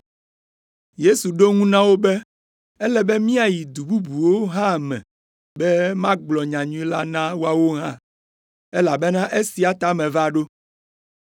Yesu ɖo eŋu na wo be, “Ele be míayi du bubuwo hã me be magblɔ nyanyui la na woawo hã, elabena esia ta meva ɖo.”